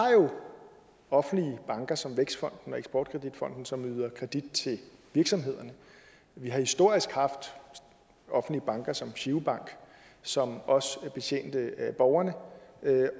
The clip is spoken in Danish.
offentlige banker som vækstfonden og eksportkreditfonden som yder kredit til virksomhederne vi har historisk haft offentlige banker som girobank som også betjente borgerne